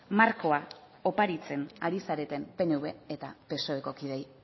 markoa oparitzen ari zareten pnv eta psoeko kideei